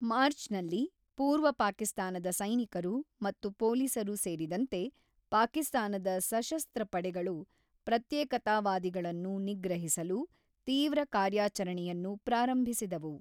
ಮಾರ್ಚ್‌ನಲ್ಲಿ, ಪೂರ್ವ ಪಾಕಿಸ್ತಾನದ ಸೈನಿಕರು ಮತ್ತು ಪೊಲೀಸರು ಸೇರಿದಂತೆ, ಪಾಕಿಸ್ತಾನದ ಸಶಸ್ತ್ರ ಪಡೆಗಳು ಪ್ರತ್ಯೇಕತಾವಾದಿಗಳನ್ನು ನಿಗ್ರಹಿಸಲು ತೀವ್ರ ಕಾರ್ಯಾಚರಣೆಯನ್ನು ಪ್ರಾರಂಭಿಸಿದವು.